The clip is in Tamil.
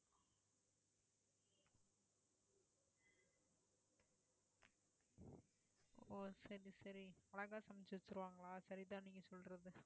ஓ சரி சரி அழகா சமைச்சு தருவங்களா, சரி தான் நீங்க சொல்றது